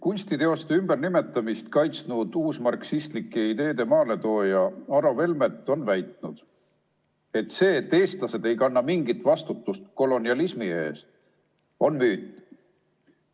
Kunstiteoste ümbernimetamist kaitsnud uusmarksistlike ideede maaletooja Aro Velmet on väitnud, et see, et eestlased ei kanna mingit vastutust kolonialismi eest, on müüt.